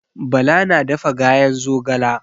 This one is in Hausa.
Bala na dafa gayen zogala.